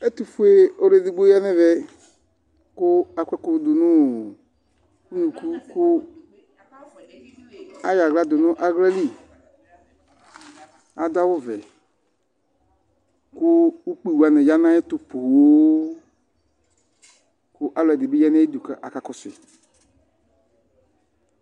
Ɛtufue ɔlu edigbo ƴa nɛvɛ Ku akɔ ɛkʊ du nʊ ʊnukʊ Ayo awla dunu awlalɩ Adʊ awʊ vɛku ʊkpɩ wani ya nayɛtu ƒoo Kalʊɛdinibi ya nayidu kakakɔsui